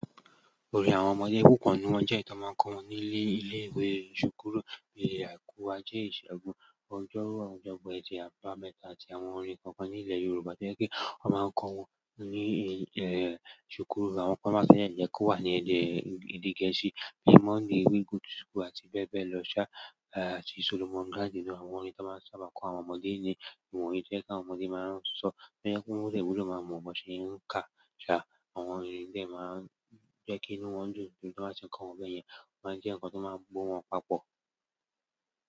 Orin àwọn ọmọdé kò kàn, ni wọ́n jẹ́ nkàn to máa ń kọ́ wọn nílé ilé ìwé, ṣùkúrù, bi àìkú, ajẹ́, ìṣẹ́gun, ọjọ́rú, ọjọ́bọ, ẹtì, àbámẹ́ta àti àwọn orin kọ̀ọ̀kan ní ìle Yorùbá to jẹ pe wọ́n máa ń kọ́ wọn ní, ṣùkúrù àwọn primary yẹn yẹ kó wà ní ẹ̀dẹ́ èdè gẹ̀ẹ́sì. Bí mọnday we go to school, àti bẹ́ẹ̀ bẹ́ẹ̀ lọ ṣá, àti Solomon Gandy ni àwọn orin tí wọ́n sábà máa ń kọ àwọn ọmọdé ní. Ìwọ̀nyí jẹ́ kí àwọn ọmọdé máa ń sọ, tó jẹ́ pe won de bu de maa mọ ṣe ń ka ṣá. Àwọn orin ìtàn máa ń jẹ́ kí inú wọn dùn nítorí tí wọ́n bá ṣe kọ́ wọn bẹ́ẹ̀ yẹn, wọ́n máa jẹ́ ǹkan tó máa gbo wọn papọ̀.